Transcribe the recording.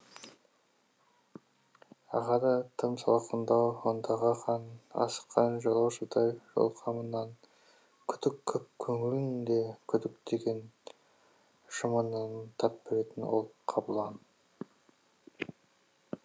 ағады тым салқындау ондағы қан асыққан жолаушыдай жол қамынан күдік көп көңілінде күдік деген жымынан тап беретін ол қабылан